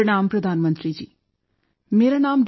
ਪ੍ਰਣਾਮ ਪ੍ਰਧਾਨ ਮੰਤਰੀ ਜੀ ਮੇਰਾ ਨਾਮ ਡਾ